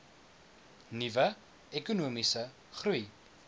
nuwe ekonomiese groei